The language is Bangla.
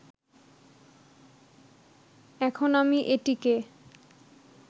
এখন আমি এটিকে